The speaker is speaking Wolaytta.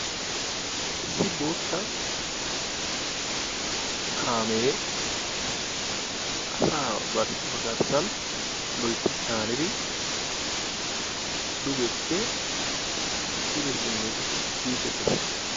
Issi boottaa kaamee asaa ba garssan loytti caanidi dugeppe pude simmidi biidi de'ees.